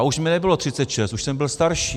A už mi nebylo 36, už jsem byl starší.